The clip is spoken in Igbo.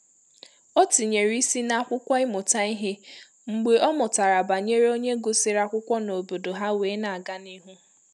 O tinyèrè ísì na akwụkwọ ịmụta ìhè mgbe ọ mụtara banyere onye gụsịrị akwụkwọ n’obodo ha wee n'aga n'ihu